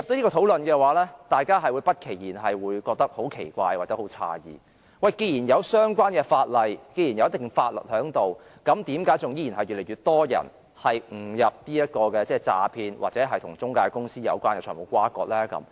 如果進入這樣的討論，大家便會不期然地感到十分奇怪或詫異，因為既然有相關的法例和一定的法律存在，為何依然越來越多人誤墮這種詐騙陷阱或與中介公司有關的財務轇轕呢？